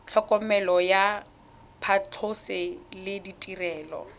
tlhokomelo ya phatlhoso le ditirelo